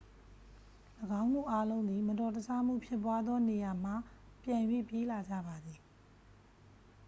၎င်းတို့အားလုံးသည် မတော်တဆမှုဖြစ်ပွားသောနေရာမှ ပြန်၍ပြေးလာကြပါသည်